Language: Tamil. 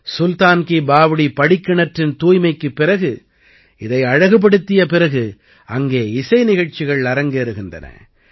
சுல்தான் கீ பாவ்டீ படிக்கிணற்றின் தூய்மைக்குப் பிறகு இதை அழகுபடுத்திய பிறகு அங்கே இசை நிகழ்ச்சிகள் அரங்கேறுகின்றன